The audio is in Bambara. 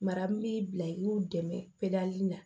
Mara min b'i bila i k'u dɛmɛ peri la